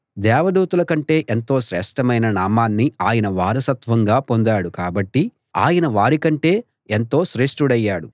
దేవదూతల కంటే ఎంతో శ్రేష్ఠమైన నామాన్ని ఆయన వారసత్వంగా పొందాడు కాబట్టి ఆయన వారి కంటే ఎంతో శ్రేష్ఠుడయ్యాడు